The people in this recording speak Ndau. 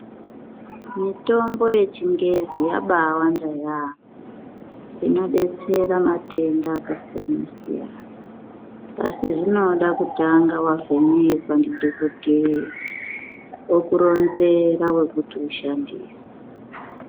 Mitombo yechingezi yabawanda yaamho, inobetsera matenga akasiyana-siyana. Asi zvinoga kutanga vavhenekwa ndidhogodheya vokuronzera vokuti ushandise.